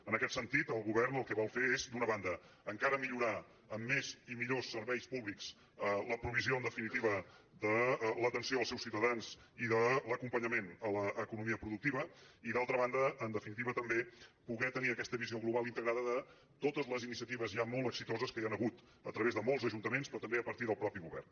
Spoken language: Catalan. en aquest sentit el govern el que vol fer és d’una banda encara millorar amb més i millors serveis públics la provisió en definitiva de l’atenció als seus ciutadans i de l’acompanyament a l’economia productiva i d’altra banda en definitiva també poder tenir aquesta visió global i integrada de totes les iniciatives ja molt exitoses que hi han hagut a través de molts ajuntaments però també a partir del mateix govern